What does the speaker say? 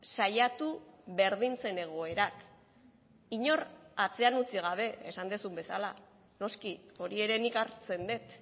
saiatu berdintzen egoerak inor atzean utzi gabe esan duzun bezala noski hori ere nik hartzen dut